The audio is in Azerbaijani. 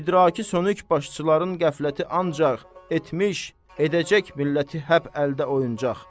İdraki sönük başçıların qəfləti ancaq etmiş, edəcək milləti həp əldə oyuncaq.